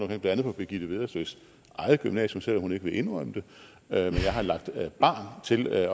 blandt andet på birgitte vedersøs eget gymnasium selv om hun ikke vil indrømme det jeg har lagt barn til at